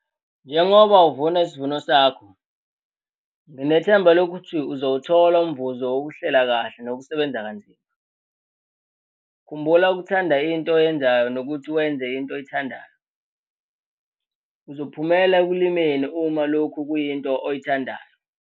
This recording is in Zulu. Njengoba uvuna isivuno sakho, nginethemba lokuthi uzowuthola umvuzo wokuhlela kahle nokusebenza kanzima. Khumbula ukuthanda into oyenzayo nokuthi wenze into oyithandayo - uzophumela ekulimeni uma lokhu kuyinto oyithandayo!